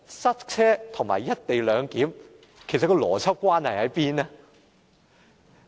塞車和"一地兩檢"之間的邏輯關係在哪裏呢？